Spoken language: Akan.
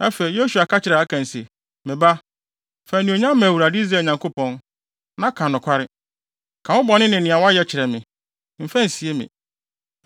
Afei, Yosua ka kyerɛɛ Akan se, “Me ba, fa anuonyam ma Awurade, Israel Nyankopɔn, na ka nokware. Ka wo bɔne ne nea wayɛ kyerɛ me. Mfa nsie me.”